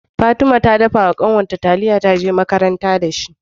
Fatima ta dafa wa kanwar ta taliya ta je makaranta da ita